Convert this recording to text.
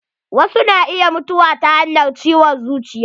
Wasu na iya mutuwa ta hanyar ciwon zuciya.